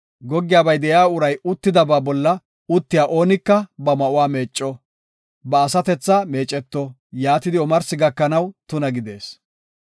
Goggiyabay de7iya uray uttidaba bolla uttiya oonika ba ma7uwa meecco; ba asatethaka meeceto; yaatidi omarsi gakanaw tuna gidees.